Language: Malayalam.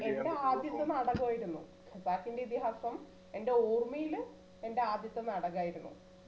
എന്റെ ആദ്യത്തെ നാടകമായിരുന്നു ഖസാക്കിന്റെ ഇതിഹാസം എന്റെ ഓര്മയില് എന്റെ ആദ്യത്തെ നാടകമായിരുന്നു